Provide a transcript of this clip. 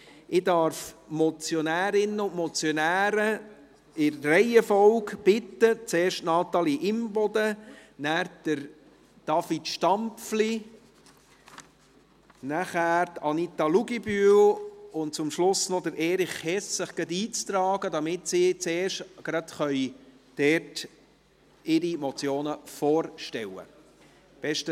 Ich darf die Motionärinnen und Motionäre in der Reihenfolge bitten – zuerst Natalie Imboden, anschliessend David Stampfli, danach Anita Luginbühl und zum Schluss noch Erich Hess –, sich gleich noch einzutragen, damit sie ihre Motionen vorstellen können.